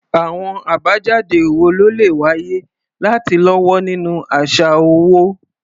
Àwọn àbájáde wo ló lè wáyé láti lọ́wọ́ nínú àṣà owó?